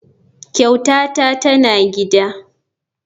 Kyautata tana gida.